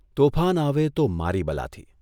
તોફાન આવે તો મારી બલાથી !